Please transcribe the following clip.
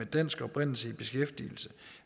dansk oprindelse i beskæftigelse